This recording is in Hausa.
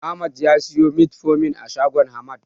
Ahmad ya siyo Metformin a shagon Hamad.